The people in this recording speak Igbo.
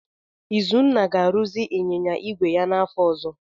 Izunna ga-arụzi ịnyịnya igwe ya n'afọ ọzọ.